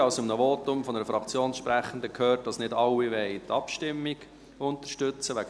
Ich habe in den Voten der Fraktionssprechenden gehört, dass nicht alle die Abschreibung unterstützen wollen.